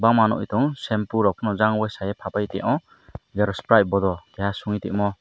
maa nugui tongo shampoo rok jang ol waisa ke o xerox pri bodo suniti omo.